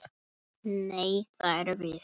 Nei, það erum við.